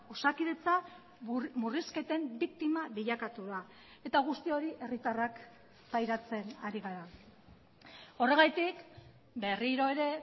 osakidetza murrizketen biktima bilakatu da eta guzti hori herritarrak pairatzen ari gara horregatik berriro ere